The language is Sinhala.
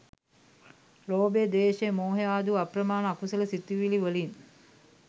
ලෝභය, ද්වේෂය, මෝහය ආදි වු අප්‍රමාණ අකුසල සිතිවිලිවලින්